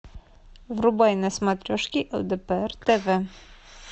врубай на смотрешке лдпр тв